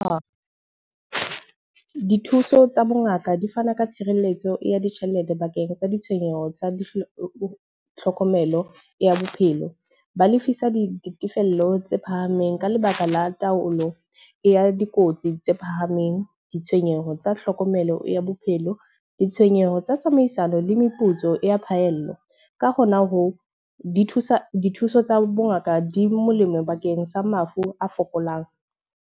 dithuso tsa bongaka di fana ka tshireletso ya ditjhelete bakeng tsa ditshenyeho tsa tlhokomelo ya bophelo. Ba lefisa di ditefello tse phahameng ka lebaka la taolo e ya dikotsi tse phahameng, ditshenyeho tsa tlhokomelo ya bophelo, ditshenyeho tsa tsamaisano le meputso ya phahello. Ka ho na hoo di thusa dithuso tsa bongaka di molemo bakeng sa mafu a fokolang.